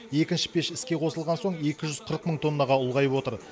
екінші пеш іске қосылған соң екі жүз қырық мың тоннаға ұлғайып отыр